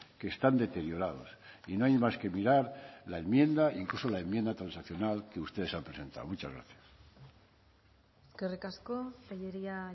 que están deteriorados y no hay más que mirar la enmienda incluso la enmienda transaccional que ustedes han presentado muchas gracias eskerrik asko tellería